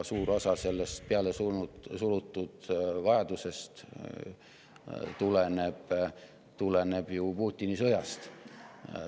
Suur osa sellest pealesurutud vajadusest tuleneb ju Putini sõjast.